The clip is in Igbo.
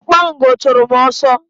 Okpango chụrụ m ọsọ.